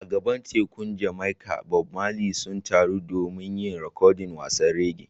A gabar tekun Jamaica, Bob Marley sun taru don yin rikodin wasannin reggae.